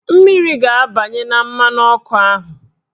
Mmiri ga-abanye na mmanụ ọkụ ahụ